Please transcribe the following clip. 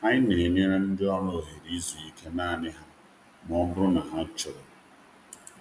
Anyị na-enye ndị ọrụ ohere izu ike ha naanị ike ha naanị ha ma ọ dị mkpa.